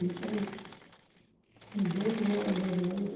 Isso há uns dezoito anos, mais ou menos.